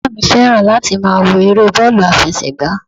Bàbá mi fẹ́ràn láti máa wo eré bọ́ọ̀lù àfẹsẹ̀gbá